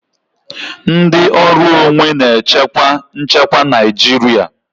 Ndị ọrụ onwe na-echekwa nchekwa Naijiria.